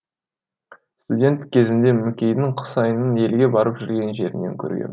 студент кезімде мүкейдің құсайынын елге барып жүрген жерінен көргем